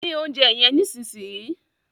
Dín oúnjẹ yen nísìsiyìí!